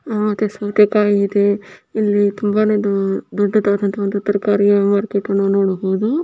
ಮತ್ತೆ ಸೌತೆಕಾಯಿ ಇದೆ ಇಲ್ಲಿ ತುಂಬಾನೇ ದೊಡ್ಡದಾದಂತ ಒಂದು ತರಕಾರಿಯ ಮಾರ್ಕೆಟ್ ನಾವು ನೋಡಬಹುದು.